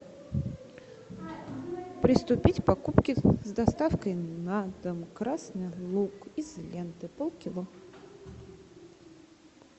приступить к покупке с доставкой на дом красный лук из ленты пол кило